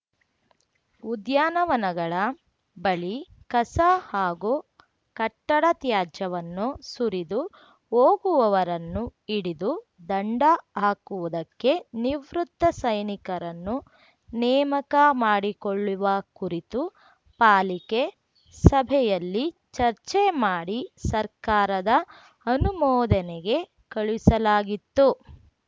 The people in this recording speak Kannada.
ಉದ್ಯಾನವನಗಳ ಬಳಿ ಕಸ ಹಾಗೂ ಕಟ್ಟಡ ತ್ಯಾಜ್ಯವನ್ನು ಸುರಿದು ಹೋಗುವವರನ್ನು ಹಿಡಿದು ದಂಡ ಹಾಕುವುದಕ್ಕೆ ನಿವೃತ್ತ ಸೈನಿಕರನ್ನು ನೇಮಕ ಮಾಡಿಕೊಳ್ಳುವ ಕುರಿತು ಪಾಲಿಕೆ ಸಭೆಯಲ್ಲಿ ಚರ್ಚೆ ಮಾಡಿ ಸರ್ಕಾರದ ಅನುಮೋದನೆಗೆ ಕಳುಹಿಸಲಾಗಿತ್ತು